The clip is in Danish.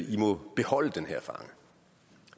de må beholde den her fange